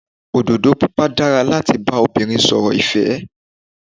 Òdòdó Pupa dára láti bá obìnrin sọ̀rọ̀ ìfẹ́.